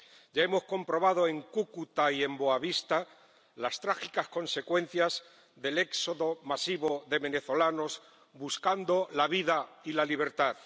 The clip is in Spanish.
Ya hemos comprobado en Cúcuta y en Boa Vista las trágicas consecuencias del éxodo masivo de venezolanos buscando la vida y la libertad.